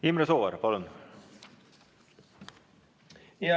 Imre Sooäär, palun!